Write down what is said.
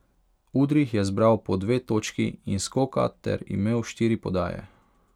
Udrih je zbral po dve točki in skoka ter imel štiri podaje.